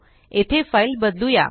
येथे फाइल बदलुया